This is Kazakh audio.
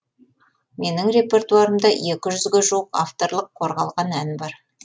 менің репертуарымда екі жүзге жуық авторлық қорғалған ән бар